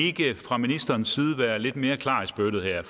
ikke fra ministerens side være lidt mere klar i spyttet her